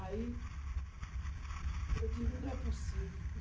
Aí, eu digo, não é possível.